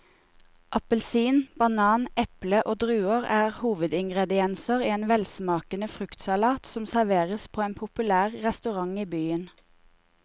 Appelsin, banan, eple og druer er hovedingredienser i en velsmakende fruktsalat som serveres på en populær restaurant i byen.